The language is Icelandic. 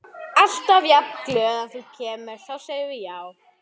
Alltaf jafn glöð.